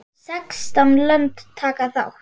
Sextán lönd taka þátt.